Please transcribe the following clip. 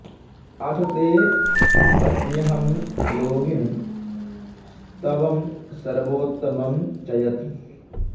अथ ते वच्म्यहं योगिन् स्तवं सर्वोत्तमं च यत्